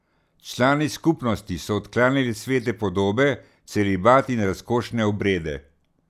Člani skupnosti so odklanjali svete podobe, celibat in razkošne obrede.